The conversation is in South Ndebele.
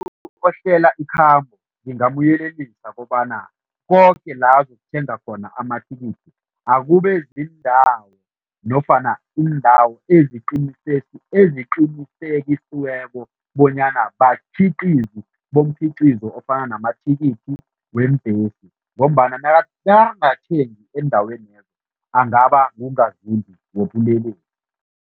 Ohlela ikhambo ngingamyelelisa kobana koke la azokuthenga khona amathikithi akube ziindawo nofana iindawo eziqinisekisweko bonyana bakhiqizi bomkhiqizo ofana namathikithi weembhesi ngombana nakangathengi eendawenezo, angaba ngungazimbi wobulelesi.